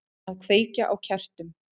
Að kveikja á kertum.